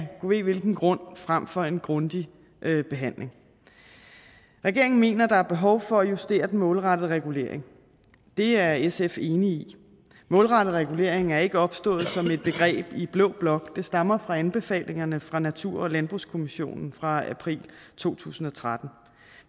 ved hvilken grund frem for en grundig behandling regeringen mener at der er behov for at justere den målrettede regulering det er sf enig i målrettet regulering er ikke opstået som et begreb i blå blok det stammer fra anbefalingerne fra natur og landbrugskommissionen fra april to tusind og tretten